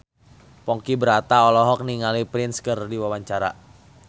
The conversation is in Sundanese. Ponky Brata olohok ningali Prince keur diwawancara